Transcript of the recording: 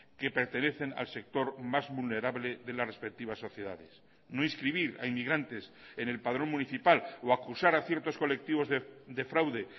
que pertenecen al sector más vulnerable de las respectivas sociedades no inscribir a inmigrantes en el padrón municipal o acusar a ciertos colectivos de fraude